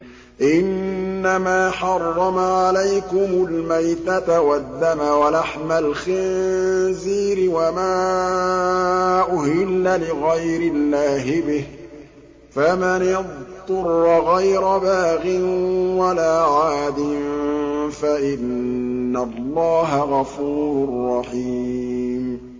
إِنَّمَا حَرَّمَ عَلَيْكُمُ الْمَيْتَةَ وَالدَّمَ وَلَحْمَ الْخِنزِيرِ وَمَا أُهِلَّ لِغَيْرِ اللَّهِ بِهِ ۖ فَمَنِ اضْطُرَّ غَيْرَ بَاغٍ وَلَا عَادٍ فَإِنَّ اللَّهَ غَفُورٌ رَّحِيمٌ